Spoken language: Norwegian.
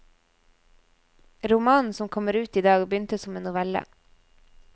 Romanen som kommer ut i dag begynte som en novelle.